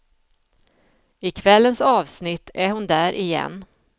I kvällens avsnitt är hon där igen.